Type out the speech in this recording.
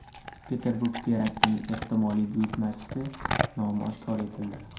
Peterburg teraktining ehtimoliy buyurtmachisi nomi oshkor etildi.